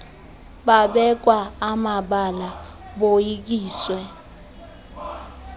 babekwa amabala boyikiswe